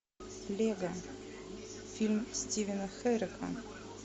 лего фильм стивена херека